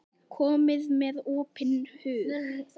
Komið með opinn hug.